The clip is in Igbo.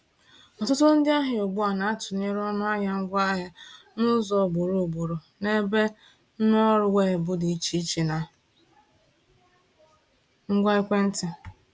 Ọtụtụ ndị ahịa ugbu a na-atụnyere ọnụahịa ngwaahịa n’ụzọ ugboro ugboro n’ebe nrụọrụ weebụ dị iche iche na ngwa ekwentị.